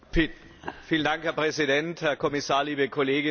Herr Präsident, Herr Kommissar, liebe Kolleginnen und Kollegen!